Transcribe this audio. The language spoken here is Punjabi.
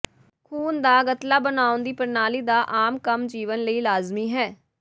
ਖੂਨ ਦਾ ਗਤਲਾ ਬਣਾਉਣ ਦੀ ਪ੍ਰਣਾਲੀ ਦਾ ਆਮ ਕੰਮ ਜੀਵਨ ਲਈ ਲਾਜ਼ਮੀ ਹੈ